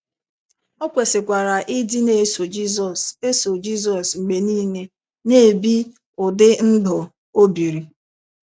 O kwesịkwara ịdị ‘ na - eso Jizọs eso Jizọs mgbe niile, ’ na - ebi ụdị ndụ O biri.